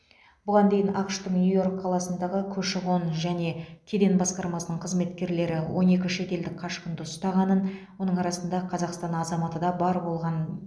бұған дейін ақш тың нью йорк қаласындағы көші қон және кеден басқармасының қызметкерлері он екі шетелдік қашқынды ұстағанын оның арасында қазақстан азаматы да бар болғанын